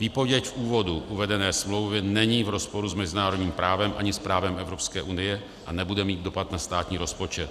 Výpověď v úvodu uvedené smlouvy není v rozporu s mezinárodním právem ani s právem Evropské unie a nebude mít dopad na státní rozpočet.